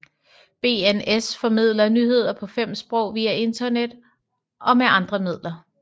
BNS formidler nyheder på fem sprog via internet og med andre midler